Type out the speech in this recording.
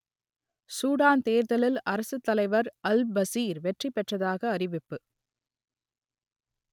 Sudan தேர்தலில் அரசுத்தலைவர் Al Bashir வெற்றி பெற்றதாக அறிவிப்பு